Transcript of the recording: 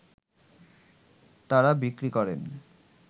তারা বিক্রি করেন